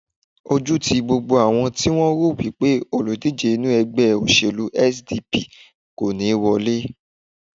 Ojú ti gbogbo àwọn ti wọ́n rò wipe olùdíje inú ègbé òṣèlú SDP kò ní wọlé